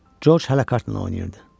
Corc hələ kartla oynayırdı.